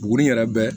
Buguni yɛrɛ bɛ